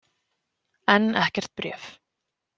Enn ekkert bréf.